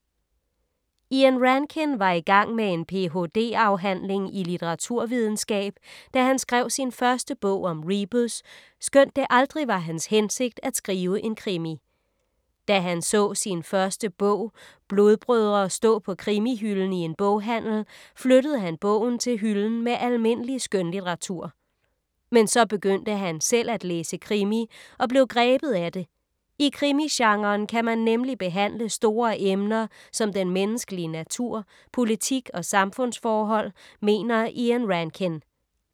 Ian Rankin var i gang med en ph.d. afhandling i litteraturvidenskab, da han skrev sin første bog om Rebus, skønt det aldrig var hans hensigt at skrive en krimi. Da han så sin første bog, Blodbrødre, stå på krimihylden i en boghandel, flyttede han bogen til hylden med almindelig skønlitteratur. Men så begyndte han selv at læse krimi og blev grebet af det. I krimigenren kan man nemlig behandle store emner som den menneskelige natur, politik og samfundsforhold mener Ian Rankin.